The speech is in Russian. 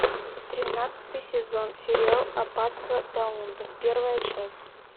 тринадцатый сезон сериал аббатство даунтон первая часть